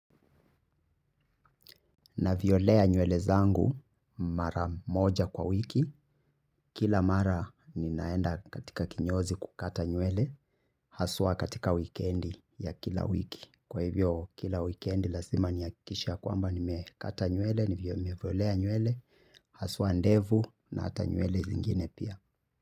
Naviolea nywele zangu mara moja kwa wiki. Kila mara ninaenda katika kinyozi kukata nywele. Haswa katika wikendi ya kila wiki kwa hivyo kila wikendi lazima ni hakikishe ya kwamba ni mekata nywele. Nivyo nimeviolea nywele haswa ndevu na hata nywele zingine pia.